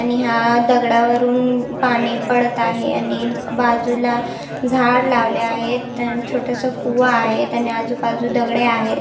आणि हा दगडा वरुन पाणी पडत आहे आणि बाजुला झाड लावले आहेत अण छोटस कुवा आहेत आणि आजूबाजू दगडे आहेत.